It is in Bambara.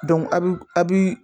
a bi a bi